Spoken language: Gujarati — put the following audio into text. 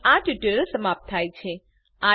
અહીં આ ટ્યુટોરીયલ સમાપ્ત થાય છે